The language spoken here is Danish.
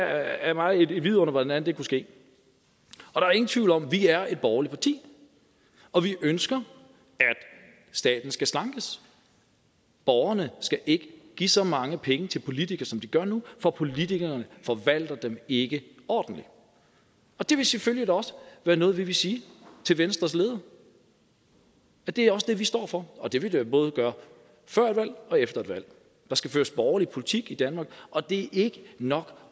er mig et under hvordan det kunne ske og der er ingen tvivl om at vi er et borgerligt parti og vi ønsker at staten skal slankes borgerne skal ikke give så mange penge til politikere som de gør nu for politikere forvalter dem ikke ordentligt og det vil selvfølgelig også været noget vi vil sige til venstres leder og det er også det vi står for og det vil vi både gøre før et valg og efter et valg der skal føres borgerlig politik i danmark og det er ikke nok